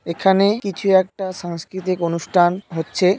এখানে কিছু একটা সাংস্কৃতিক অনুষ্ঠান হচ্ছে।